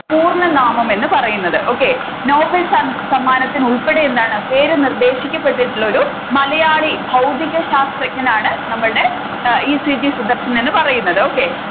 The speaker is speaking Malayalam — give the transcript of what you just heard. പൂർണ്ണനാമം എന്ന് പറയുന്നത് okay നോബൽ സമ്മാനത്തിന് ഉൾപ്പടെ എന്താണ് പേര് നിർദേശിക്കപ്പെട്ടിട്ടുള്ളൊരു മലയാളി ഭൗതിക ശാസ്ത്രജ്ഞനാണ് നമ്മളുടെ ഈ. സി. ജി സുദർശൻ എന്ന് പറയുന്നത് okay